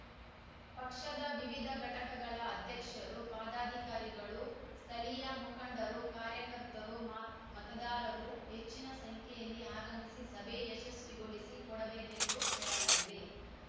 ಪಕ್ಷದ ವಿವಿಧ ಘಟಕಗಳ ಅಧ್ಯಕ್ಷರು ಪದಾಕಾರಿಗಳು ಸ್ಥಳೀಯ ಮುಖಂಡರು ಕಾರ್ಯಕರ್ತರು ಮ ಮತದಾರರು ಹೆಚ್ಚಿನ ಸಂಖ್ಯೆಯಲ್ಲಿ ಆಗಮಿಸಿ ಸಭೆ ಯಶಸ್ವಿಗೊಳಿಸಿ ಕೊಡಬೇಕೆಂದು ಕೋರಲಾಗಿದೆ